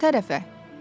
Hansı tərəfə?